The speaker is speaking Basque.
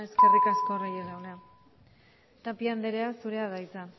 eskerrik asko reyes jauna tapia andrea zurea da hitza